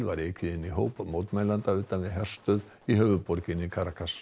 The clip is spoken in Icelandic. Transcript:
var ekið inn í hóp mótmælenda utan við herstöð í höfuðborginni